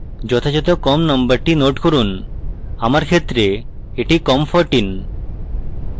যথাযথ com নম্বরটি note করুন; আমার ক্ষেত্রে এটি com14